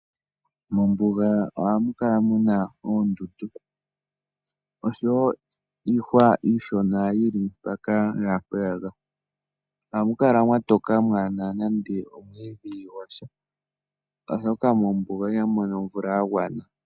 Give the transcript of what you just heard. Mombuga ohamu kala muna oondundu, oshowo iihwa iishona yili mpaka naampeyaka. Ohamu kala mwa toka mwaana nande omwiidhi gwasha, oshoka mombuga ihamu mono omvula ya gwana.